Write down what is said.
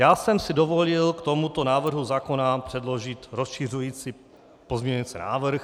Já jsem si dovolil k tomuto návrhu zákona předložit rozšiřující pozměňující návrh.